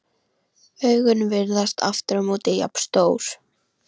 Augun virðast aftur á móti jafn stór.